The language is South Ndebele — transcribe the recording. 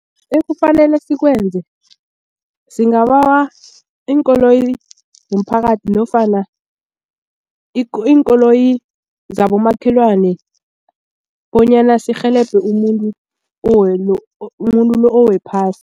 Ekufanele sikwenze singabawa iinkoloyi zomphakathi nofana iinkoloyi zabomakhelwane bonyana sirhelebhe umuntu umuntu lo owephasi.